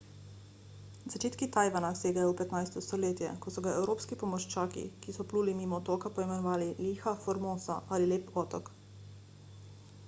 začetki tajvana segajo v 15 stoletje ko so ga evropski pomorščaki ki so pluli mimo otoka poimenovali ilha formosa ali lepi otok